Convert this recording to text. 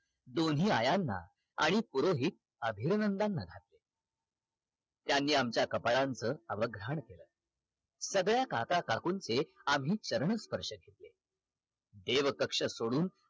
दोन्ही आयांना आणि पुरोहित अभिरनंदांना त्यांनी आमच्या कपाळाचा अवघान केल सगळ्या काका काकुंचे आम्ही चरणस्पर्श केले एव कक्ष सोडून